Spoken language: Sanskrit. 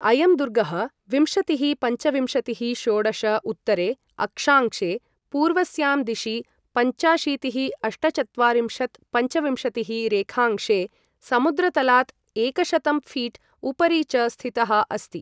अयं दुर्गः विंशतिःपञ्चविंशतिः'षोडश उत्तरे अक्षांशे, पूर्वस्यां दिशि पञ्चाशीतिःअष्टचत्वारिंशत्'पञ्चविंशतिः रेखांशे, समुद्रतलात् एकशतं फ़ीट् उपरि च स्थितः अस्ति।